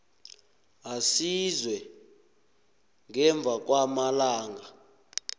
aziswe ngemva kwamalanga